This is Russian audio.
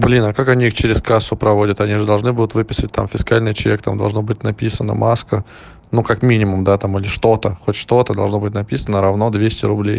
блин а как они через кассу проводят они же должны будут выписывать там фискальный чек там должно быть написано маска ну как минимум да там или что-то хоть что-то должно быть написано равно двести рублей